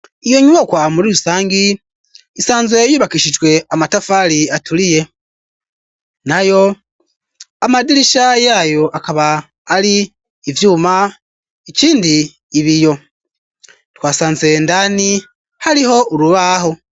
Iyo nyubakwa muri rusangi isanze yubakishijwe amatafari aturiye, nayo amadirisha yayo akaba ari ivyuma ikindi ibiyo, twasanze indani hariho urubaho.